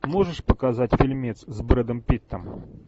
можешь показать фильмец с брэдом питтом